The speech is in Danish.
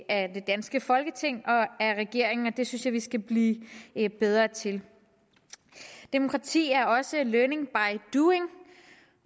af det danske folketing og af regeringen og det synes jeg vi skal blive bedre til demokrati er også learning by doing